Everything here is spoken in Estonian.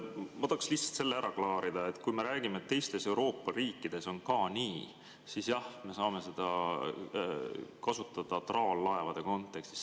Ma tahaksin lihtsalt selle ära klaarida, et kui me räägime, et teistes Euroopa riikides on ka nii, siis jah, me saame seda kasutada traallaevade kontekstis.